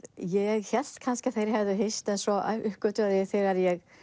ég hélt kannski að þeir hefðu hist en svo uppgötvaði ég þegar ég